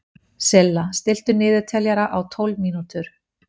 Silla, stilltu niðurteljara á tólf mínútur.